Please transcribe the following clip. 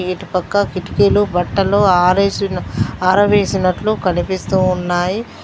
ఏటు పక్క కిటికీలు బట్టలు ఆరేసిన ఆరవేసినట్లు కనిపిస్తూ ఉన్నాయి.